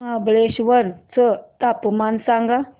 महाबळेश्वर चं तापमान सांग